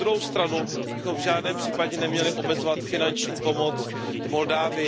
Na druhou stranu bychom v žádném případě neměli omezovat finanční pomoc Moldavsku.